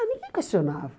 Ah, ninguém questionava.